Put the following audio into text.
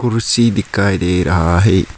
कुर्सी दिखाई दे रहा है।